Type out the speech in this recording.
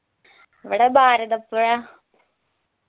ഇവിടെ ഭാരതപ്പുഴ